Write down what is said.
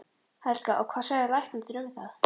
Helga: Og hvað segja læknarnir um það?